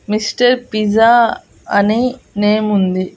Mister pizza అని name ఉంది.